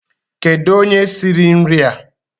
Kedu onye siri nria?